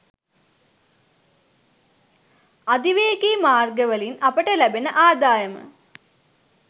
අධිවේගී මාර්ගවලින් අපට ලැබෙන ආදායම